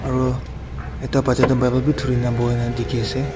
Aro ekta bacha toh bible bi thurina boina dikhiase.